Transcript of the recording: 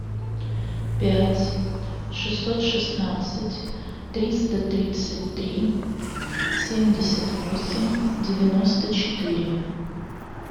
пять шестьсот шестнадцать триста тридцать три семьдесят восемь девяносто четыре